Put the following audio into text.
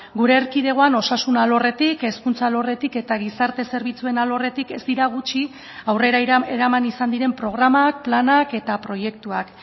gure erkidegoan osasun alorretik hezkuntza alorretik eta gizarte zerbitzuen alorretik ez dira gutxi aurrera eraman izan diren programak planak eta proiektuak